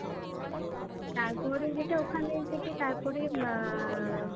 তারপরে যেটা ওখানে থেকে, তারপরে আহ